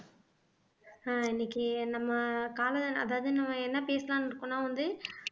ஆஹ் இன்னைக்கு நம்ம கால அதாவது என்ன பேசலான்னு இருக்கோம்ன்னா வந்து